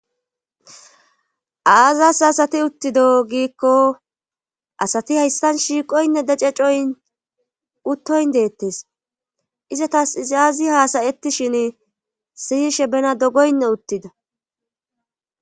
Aazas asati uttido giikko asati hayssan shiiqoynne dececoyn uttoyn deettes izatas izaazi haasayetishin siyishe bena dogoynne uttida.